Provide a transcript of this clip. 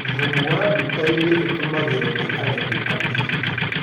Thumu wa dukainĩ ũtũmagĩrwo nĩi arĩmi anini